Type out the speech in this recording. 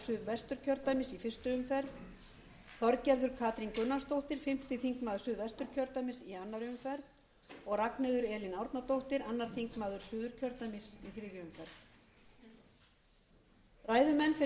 suðvesturkjördæmis í fyrstu umferð þorgerður katrín gunnarsdóttir fimmti þingmaður suðvesturkjördæmis í annarri umferð og ragnheiður elín árnadóttir öðrum þingmönnum suðurkjördæmis í þriðju umferð ræðumenn fyrir